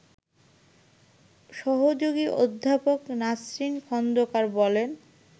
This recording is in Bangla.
সহযোগী অধ্যাপক নাসরিন খন্দকার বলেন